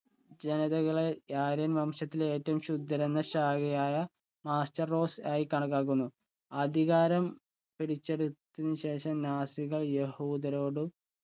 ജനതകളെ പിടിച്ചെടുത്തതിന് ശേഷം നാസികൾ യഹൂദരോട്